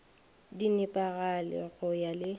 di nepagale go ya le